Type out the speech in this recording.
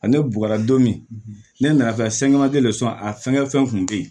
Ale bukala don min ne nana fɛn a fɛngɛ fɛn kun be yen